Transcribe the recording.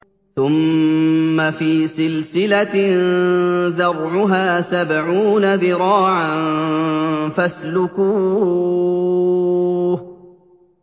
ثُمَّ فِي سِلْسِلَةٍ ذَرْعُهَا سَبْعُونَ ذِرَاعًا فَاسْلُكُوهُ